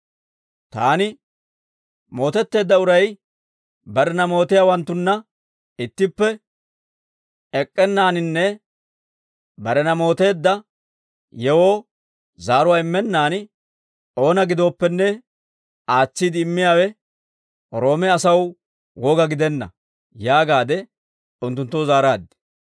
Taani, ‹Mootetteedda uray barena mootiyaawanttunna ittippe ek'k'ennaaninne barena mooteedda yewoo zaaruwaa immennaan, oona gidooppenne aatsiide immiyaawe Roome asaw woga gidenna› yaagaade unttunttoo zaaraad.